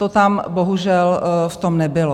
To tam, bohužel, v tom nebylo.